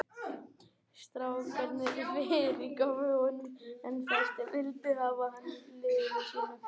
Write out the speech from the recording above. Strákarnir fyrirgáfu honum en fæstir vildu hafa hann í liði sínu.